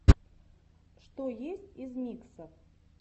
что есть из миксов